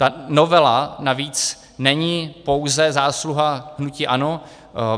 Ta novela navíc není pouze zásluha hnutí ANO.